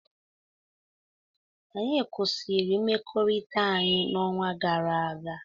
anyị kwụsịrị mmekọrịta anyị n'ọnwa gara aga